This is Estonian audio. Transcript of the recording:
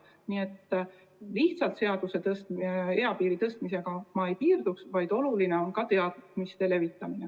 Nii et lihtsalt eapiiri tõstmisega ma ei piirduks, vaid oluline on ka teadmiste levitamine.